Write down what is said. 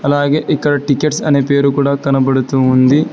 అలాగే ఇక్కడ టికెట్స్ అనే పేరు కూడా కనబడుతుంది.